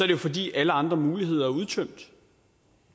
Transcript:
det fordi alle andre muligheder er udtømt